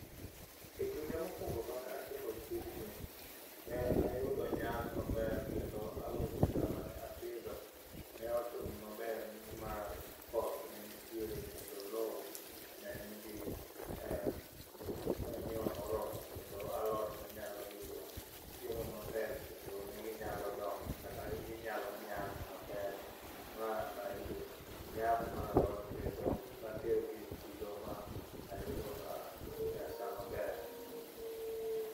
E kinde mokuongo manatimo tijni ne ayudo nyak maber kendo alote na mane apidho ne otimo maber nimar koth ne nitiere kendo lowo ne nigi manyiwa moromo. Kendo alot ne nyalo yudo chiemo maber kendo ne ginyalo dongo kata ginyalo nyak maber mana yudo nyak mar alot kedno natero gi e chiro ma ayudo pesa maber.